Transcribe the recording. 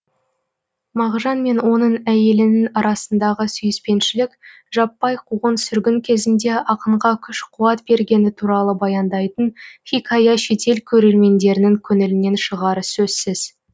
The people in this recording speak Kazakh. мағжан мен оның әйелінің арасындағы сүйіспеншілік жаппай қуғын сүргін кезінде ақынға күш қуат бергені туралы баяндайтын хикая шетел көрермендерінің көңілінен шығары сөзсіз